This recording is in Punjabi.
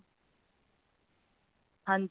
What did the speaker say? ਹਾਂਜੀ